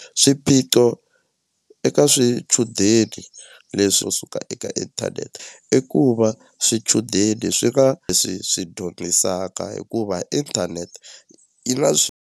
Swiphiqo eka swichudeni leswo suka eka inthanete i ku va swichudeni swi nga leswi swi hikuva inthanete yi na .